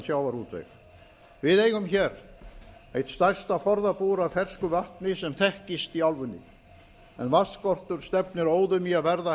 sjávarútveg við eigum hér eitt stærsta forðabúr af fersku vatni sem þekkist í álfunni en vatnsskortur stefnir óðum í að verða